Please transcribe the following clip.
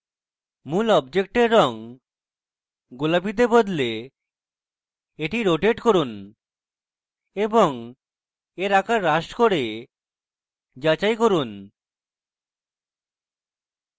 মূল অবজেক্টের রঙ গোলাপীতে বদলে এটি রোটেট করুন এবং এর আকার হ্রাস করে যাচাই করুন